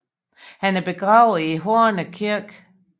Han er begravet i Horne Kirke